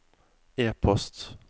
e-post